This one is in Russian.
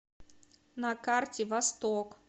на карте восток